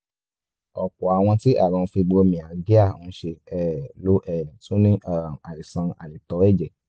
ọ̀pọ̀ àwọn tí àrùn fibromyalgia ń ṣe um ló um tún ní um àìsàn àìtó ẹ̀jẹ̀